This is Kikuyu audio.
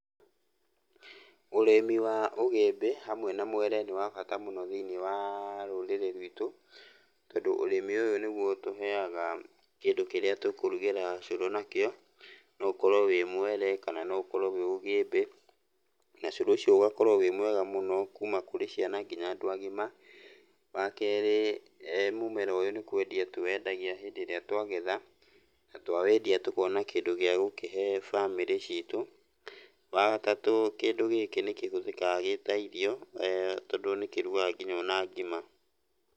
Ũrĩmi wa ũgĩmbĩ hamwe na mwere nĩ wa bata mũno thĩiniĩ wa rũrĩrĩ rwitũ, tondũ ũrĩmi ũyũ nĩguo ũtũheaga kĩndũ kĩrĩa tũkũrugĩra ũcũrũ nakĩo. No ũkorwo wĩ mwere kana no ũkorwo wĩ ũgĩmbĩ, na cũrũ ũcio ũgakorwo wĩ mwega mũno kuma kũrĩ ciana kinya andũ agima. Wakerĩ mũmera ũyũ nĩ kwendia tũwendagia hĩndĩ ĩrĩa twagetha, na twawendia tũkona kĩndũ gĩa gũkĩhe bamĩrĩ citũ. Wagatatũ kĩndũ gĩkĩ nĩ kĩhũthĩkaga gĩ ta irio, tondũ nĩkũrugaga kinya ona ngima.